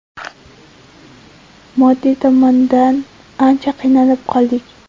Moddiy tomondan ancha qiynalib qoldik.